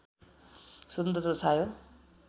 स्वतन्त्रता छायो